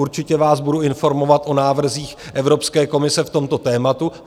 Určitě vás budu informovat o návrzích Evropské komise v tomto tématu.